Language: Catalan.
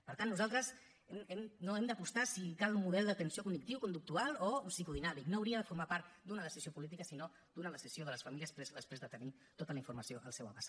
per tant nosaltres no hem d’apostar si cal un model d’atenció cognitiu conductual o psicodinàmic no hauria de formar part d’una decisió política sinó d’una decisió de les famílies presa després de tenir tota la informació al seu abast